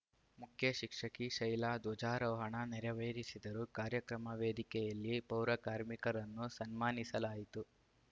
ಮುಖ್ಯ ಶಿಕ್ಷಕಿ ಶೈಲಾ ಧ್ವಜಾರೋಹಣ ನೆರವೇರಿಸಿದರು ಕಾರ್ಯಕ್ರಮ ವೇದಿಕೆಯಲ್ಲಿ ಪೌರಕಾರ್ಮಿಕರನ್ನು ಸನ್ಮಾನಿಸಲಾಯಿತು